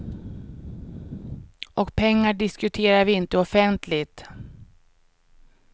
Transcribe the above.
Och pengar diskuterar vi inte offentligt.